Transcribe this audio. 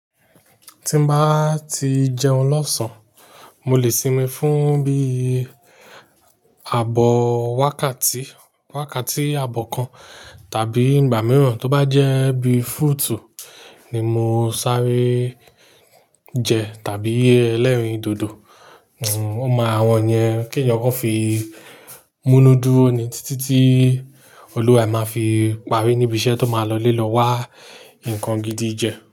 Tí n bá ti jẹun lọ̀sán, mo lè sinmi fún bíi ààbọ̀ wákàtí, wákàtí àbọ̀ kan tàbí ìgbà mìíràn tó bá jẹ́ bí fruit ni mo ń sáré jẹ tàbí ẹlẹ́rìndòdò. O máa awọn yẹn k'ẹ̀yàn kan fi múnù dúró ní títí tí Olúwa máa fi parí níbi iṣẹ́ tó máa lọlé lọ wá nǹkan gidi jẹ.